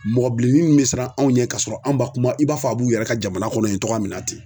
Mɔgɔ bilenni me siran anw ɲɛ kasɔrɔ an' ba kuma i b'a fɔ a b'u yɛrɛ ka jamana kɔnɔ yen togoya min na ten.